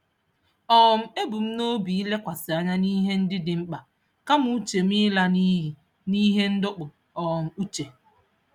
um Ebu m n'obi ịlekwasị anya n'ihe ndị dị mkpa kama uche m ịla n'iyi n'ihe ndọpụ um uche.